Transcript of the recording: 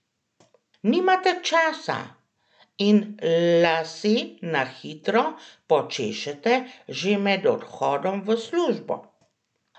Nimate časa in lase na hitro počešete že med odhodom v službo?